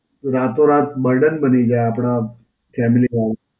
તો રાતો રાત Burden બની જાય આપડા family વાળાને.